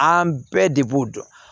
An bɛɛ de b'o dɔn